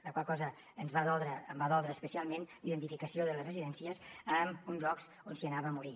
la qual cosa ens va doldre em va doldre especialment la identificació de les residències amb llocs on s’hi anava a morir